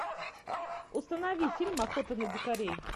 установи фильм охота на дикарей